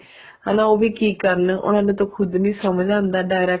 ਉਹ ਵੀ ਕੀ ਕਰਨ ਉਹਨਾ ਨੂੰ ਤਾਂ ਖੁਦ ਨੀ ਸਮਝ ਆਉਂਦਾ direct